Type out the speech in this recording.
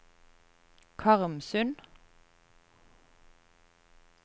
Karmsund